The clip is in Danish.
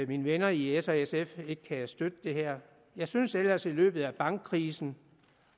mine venner i s og sf ikke kan støtte det her jeg synes ellers at i løbet af bankkrisen